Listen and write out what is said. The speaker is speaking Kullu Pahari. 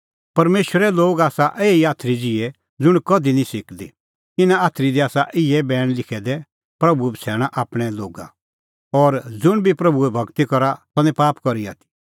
परमेशरे लोग आसा एही आथरी ज़िहै ज़ुंण कधि निं सिकदी इना आथरी दी आसा इहै बैण लिखै दै प्रभू बछ़ैणा आपणैं लोगा और ज़ुंण बी प्रभूए भगती करा सह निं पाप करी आथी